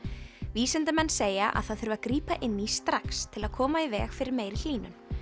vísindamenn segja að það þurfi að grípa inn í strax til að koma í veg fyrir meiri hlýnun